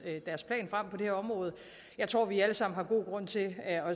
deres plan frem på det her område jeg tror vi alle sammen har god grund til